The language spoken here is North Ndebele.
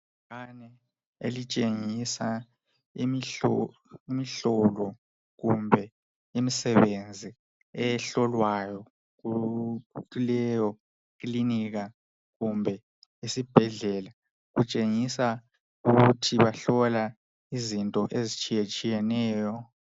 ibhakane elitshengisa imihlolo kumbe imisebenzi ehlolwayo kuleyo ikilinika kumbe isibhedlela kutshengisa ukuthi bahlola izinto ezitshiyetshiyeneyo